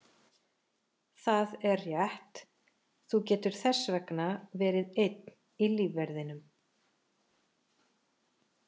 Það er rétt, þú getur þess vegna verið einn í lífverðinum.